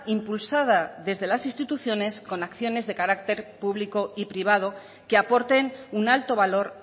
impulsada desde las instituciones con acciones de carácter público y privado que aporten un alto valor